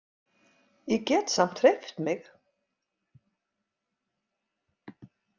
Ég get samt hreyft mig.